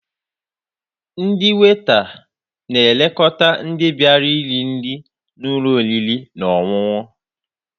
Ndị weita na-elekọta ndị bịara iri nri n'ụlọ oriri na ọṅụṅụ.